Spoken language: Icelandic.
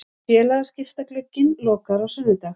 Félagaskiptaglugginn lokar á sunnudag.